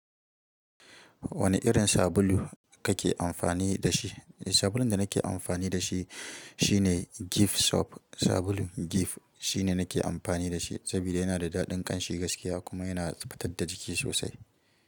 Wane irin sabulu kake amfani da shi? Sabulun da nake amfani da shi shine Gift soap. Sabulu Gift shine nake amfani da shi saboda yana da daɗin ƙanshi gaskiya kuma yana fitar da jiki sosai.